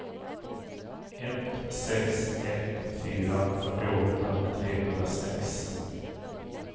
ett sex ett fyra fyrtioåtta trehundrasex